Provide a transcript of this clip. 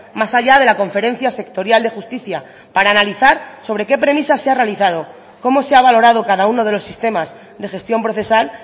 más allá de la conferencia sectorial de justicia para analizar sobre qué premisa se ha realizado cómo se ha valorado cada uno de los sistemas de gestión procesal